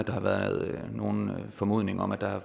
har været nogen formodning om at der er